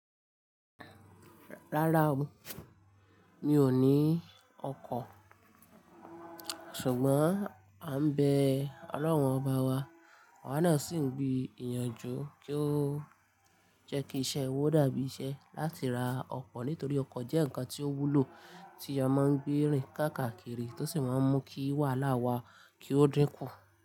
Rárá o, mi ò ní ọkọ̀, ṣùgbọ́n à ń bẹ Ọlọ́run ọba wa, à wà náà sì ń gbì ìyànjú kí ó jẹ́ kí iṣẹ́ wà ó dàbí iṣẹ́ láti ra ọkọ̀ nítorí ọkọ̀ jẹ́ nǹkan tí ó wúlò tí a máa ń gbé rìn káàkakiri tó sì máa ń mú kí wàhálà wa kí ó dínkù.